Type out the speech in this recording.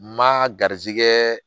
Ma garizigɛ